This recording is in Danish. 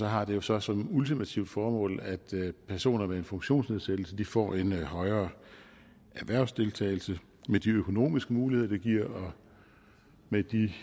har det jo så som ultimativt formål at personer med en funktionsnedsættelse får en højere erhvervsdeltagelse med de økonomiske muligheder det giver og med de